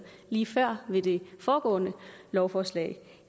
lige før i med det foregående lovforslag